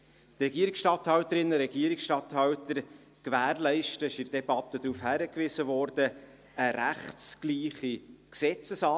Die Regierungsstatthalterinnen und Regierungsstatthalter gewährleisten eine rechtsgleiche Gesetzesanwendung.